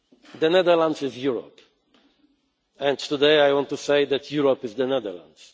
weekend. The Netherlands is Europe, and today I want to say that Europe is the Netherlands.